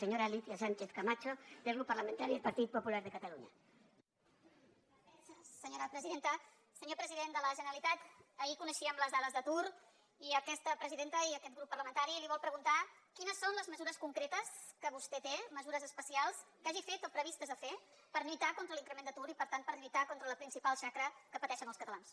senyor president de la generalitat ahir coneixíem les dades d’atur i aquesta presidenta i aquest grup parlamentari li vol preguntar quines són les mesures concretes que vostè té mesures especials que hagi fet o previstes de fer per lluitar contra l’increment d’atur i per tant per lluitar contra la principal xacra que pateixen els catalans